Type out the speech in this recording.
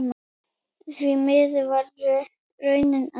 Því miður varð raunin önnur.